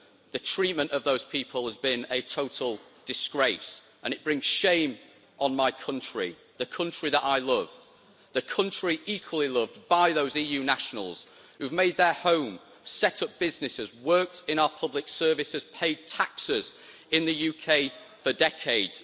The treatment of those people has been a total disgrace and it brings shame on my country, the country that I love, the country equally loved by those EU nationals who have made their homes, set up businesses, worked in our public services and paid taxes in the UK for decades.